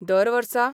दर वर्सा